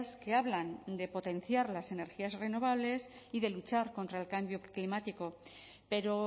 que hablan de potenciar las energías renovables y de luchar contra el cambio climático pero